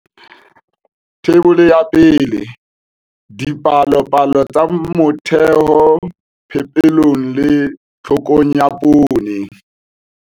Theibole ya 1. Dipalopalo tsa motheho phepelong le tlhokong ya poone.